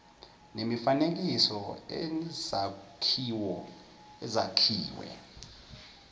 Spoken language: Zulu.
nemifanekiso nezakhiwo ezakhiwe